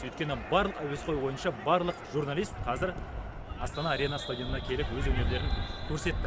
өйткені барлық әуесқой ойыншы барлық журналист қазір астана арена стадионына келіп өз өнерлерін көрсетті